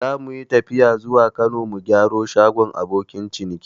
Zamuyi tafiya zuwa Kano mu gyara shagon abokin ciniki